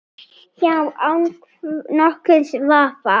Já, án nokkurs vafa.